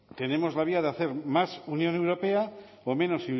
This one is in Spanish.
tenemos la vía de hacer más unión europea o menos